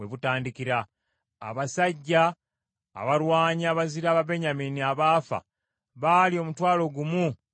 Abasajja abalwanyi abazira Ababenyamini abaafa baali omutwalo gumu mu kanaana.